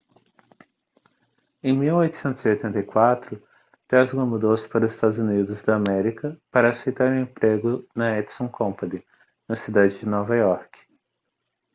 em 1884 tesla mudou-se para os estados unidos da américa para aceitar um emprego na edison company na cidade de nova iorque